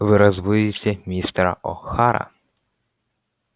вы разбудите мистера охара